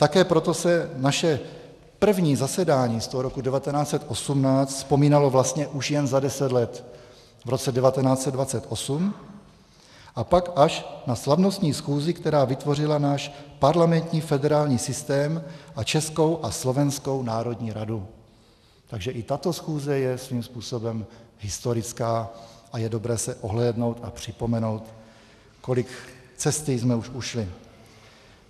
Také proto se naše první zasedání z toho roku 1918 vzpomínalo vlastně už jen za deset let, v roce 1928, a pak až na slavnostní schůzi, která vytvořila náš parlamentní federální systém a Českou a Slovenskou národní radu, takže i tato schůze je svým způsobem historická a je dobré se ohlédnout a připomenout, kolik cesty jsme už ušli.